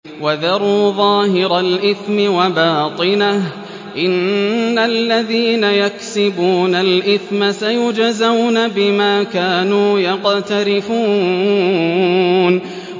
وَذَرُوا ظَاهِرَ الْإِثْمِ وَبَاطِنَهُ ۚ إِنَّ الَّذِينَ يَكْسِبُونَ الْإِثْمَ سَيُجْزَوْنَ بِمَا كَانُوا يَقْتَرِفُونَ